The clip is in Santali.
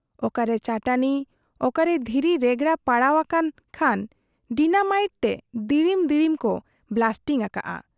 ᱚᱠᱟᱨᱮ ᱪᱟᱹᱴᱟᱹᱱᱤ, ᱚᱠᱟᱨᱮ ᱫᱷᱤᱨᱤ ᱨᱮᱜᱽᱲᱟ ᱯᱟᱲᱟᱣ ᱟᱠᱟᱱ ᱠᱷᱟᱱ ᱰᱤᱱᱟᱢᱟᱭᱤᱴ ᱛᱮ ᱫᱤᱲᱤᱢ ᱫᱤᱲᱤᱢ ᱠᱚ ᱵᱞᱟᱥᱴᱤᱝ ᱟᱠᱟᱜ ᱟ᱾